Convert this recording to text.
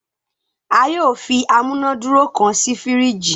a yóò fí amunaduro kán sí firiji